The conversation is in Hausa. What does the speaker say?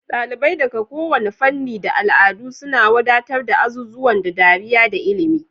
Dalibai daga kowane fanni da al'adu suna wadatar da azuzuwan da dariya da ilimi.